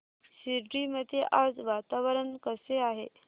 शिर्डी मध्ये आज वातावरण कसे आहे